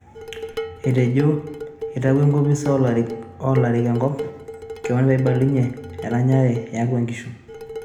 Etejo itawuo enkopis o lorik enkop kwon peibelekenye eranyare iatwa inkishu